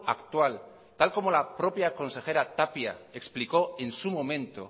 actual tal y como la propia consejera tapia explicó en su momento